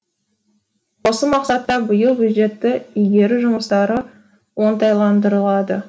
осы мақсатта биыл бюджетті игеру жұмыстары оңтайландырылады